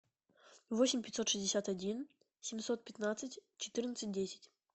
восемь пятьсот шестьдесят один семьсот пятнадцать четырнадцать десять